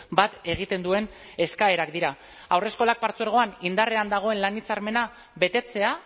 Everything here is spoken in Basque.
bat egiten duen eskaerak dira haurreskolak partzuergoan indarrean dagoen lan hitzarmena betetzea